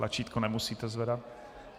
Tlačítko nemusíte zvedat.